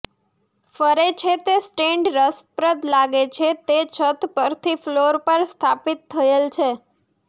ફરે છે તે સ્ટેન્ડ રસપ્રદ લાગે છે તે છત પરથી ફ્લોર પર સ્થાપિત થયેલ છે